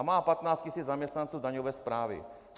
A má 15 tisíc zaměstnanců daňové správy.